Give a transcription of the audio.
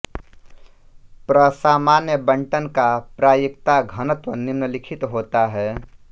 प्रसामान्य बंटन का प्रायिकता घनत्व निम्नलिखित होता है